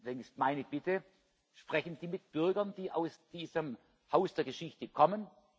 Deswegen ist meine Bitte Sprechen Sie mit Bürgern, die aus diesem Haus der Geschichte kommen!